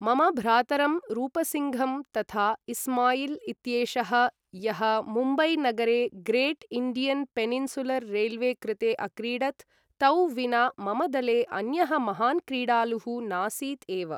मम भ्रातरं रूपसिङ्घं तथा इस्माइल् इत्येषः, यः मुम्बै नगरे ग्रेट् इण्डियन् पेनिन्सुलर् रेल्वे कृते अक्रीडत्, तौ विना मम दले अन्यः महान् क्रीडालुः नासीत् एव।